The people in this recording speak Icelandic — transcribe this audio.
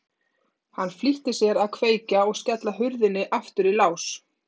Hann flýtti sér að kveikja og skella hurðinni aftur í lás.